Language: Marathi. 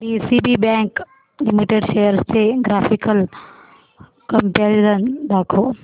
डीसीबी बँक लिमिटेड शेअर्स चे ग्राफिकल कंपॅरिझन दाखव